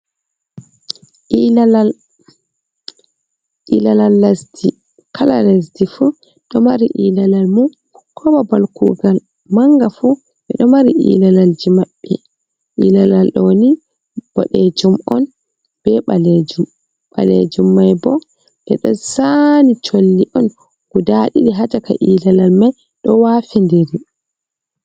Ilalal, ilala lesdi kala lasdi fu ɗo mari ilalal mun ko babal kugal manga fu ɓeɗo mari ilalalji maɓɓe ilalal ɗoni boɗejum on be ɓalejum, Ɓalejum mai bo ɓeɗo zani colli on guda ɗiɗi ha caka ilalal mai ɗo wafindiri.